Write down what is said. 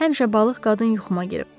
Həmişə balıq qadın yuxuma girib.